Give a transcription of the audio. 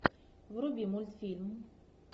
вруби мультфильм